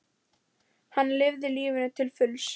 Hann lifði lífinu til fulls.